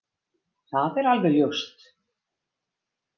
Það er alveg ljóst!